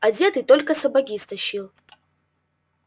одетый только сапоги стащил